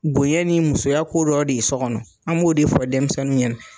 Bonyɛ ni musoya ko dɔ de ye sɔ kɔnɔ, an b'o de fɔ dɛmisɛnnunw ɲɛna.